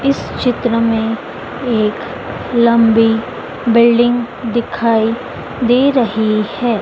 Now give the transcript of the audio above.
इस चित्र मे एक लंबी बिल्डिंग दिखाई दे रही है।